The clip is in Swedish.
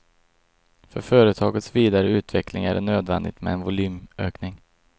För företagets vidare utveckling är det nödvändigt med en volymökning.